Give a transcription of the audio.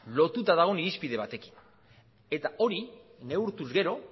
lotuta dagoen irizpide batekin eta hori neurtuz gero